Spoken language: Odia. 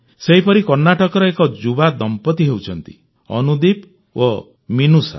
ସେହିପରି କର୍ଣ୍ଣାଟକର ଏକ ଯୁବା ଦମ୍ପତି ହେଉଛନ୍ତି ଅନୁଦୀପ ଓ ମିନୁଷା